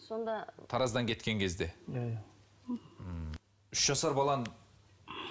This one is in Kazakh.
сонда тараздан кеткен кезде иә иә ммм үш жасар баланы